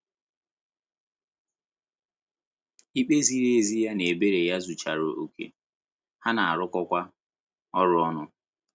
Ikpe ziri ezi ya na ebere ya zuchara okè, ha na - arụkọkwa ọrụ n’otu.